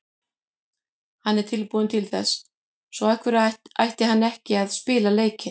Hann er tilbúinn til þess, svo af hverju ætti hann ekki að spila leikinn?